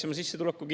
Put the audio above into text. Austatud minister!